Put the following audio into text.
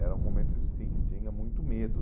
Era um momento, de sim, que tinha muito medo.